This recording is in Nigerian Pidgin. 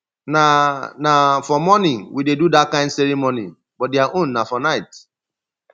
na na for morning we dey do dat kin ceremony but their own na for night